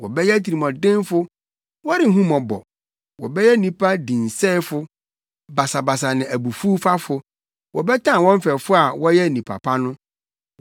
wɔbɛyɛ atirimɔdenfo, wɔrenhu mmɔbɔ, wɔbɛyɛ nnipa dinsɛefo basabasa ne abufuwfafo, wɔbɛtan wɔn mfɛfo a wɔyɛ nnipa pa no,